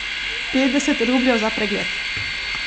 Petdeset rubljev za pregled.